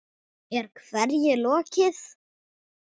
Er hverju lokið?